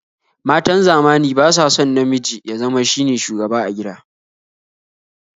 Matan zamani ba sa son namiji ya zama shine shugaba a gida